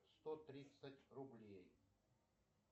сто тридцать рублей